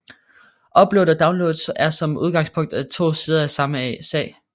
Upload og download er som udgangspunkt to sider af samme sag